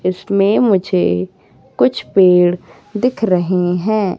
इसमें मुझे कुछ पेड़ दिख रहे हैं।